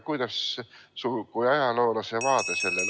Kuidas sina kui ajaloolane seda näed?